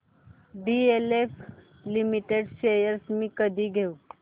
DLF limited shares मी कधी घेऊ